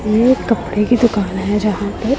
ये एक कपड़े की दुकान है जहां पे--